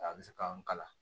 A bɛ se k'an kalan